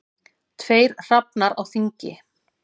Tveir hrafnar á þingi.